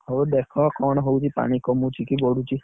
ହଉ ଦେଖ କଣ ହଉଛି ପାଣି କମୁଛି କି ବଢୁଛି?